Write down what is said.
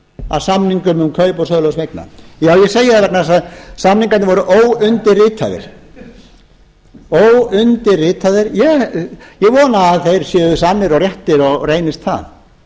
að samningum um kaup og sölu þessara eigna já ég segi það vegna þess að samningarnir voru óundirritaðir ég vona að þeir séu sannir og réttir og reynist það